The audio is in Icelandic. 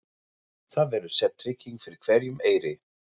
Það verður sett trygging fyrir hverjum eyri.